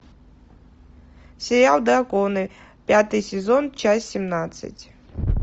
сериал драконы пятый сезон часть семнадцать